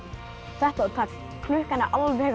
þetta var tæpt klukkan er alveg að